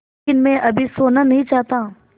लेकिन मैं अभी सोना नहीं चाहता